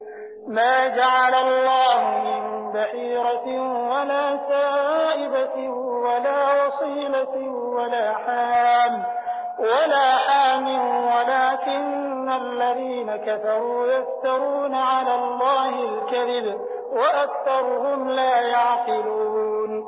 مَا جَعَلَ اللَّهُ مِن بَحِيرَةٍ وَلَا سَائِبَةٍ وَلَا وَصِيلَةٍ وَلَا حَامٍ ۙ وَلَٰكِنَّ الَّذِينَ كَفَرُوا يَفْتَرُونَ عَلَى اللَّهِ الْكَذِبَ ۖ وَأَكْثَرُهُمْ لَا يَعْقِلُونَ